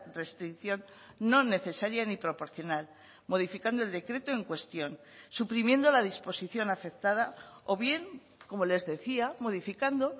restricción no necesaria ni proporcional modificando el decreto en cuestión suprimiendo la disposición afectada o bien como les decía modificando